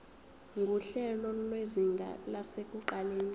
nguhlelo lwezinga lasekuqaleni